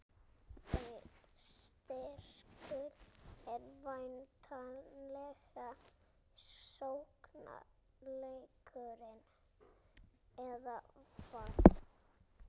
Þeirra styrkur er væntanlega sóknarleikurinn, eða hvað?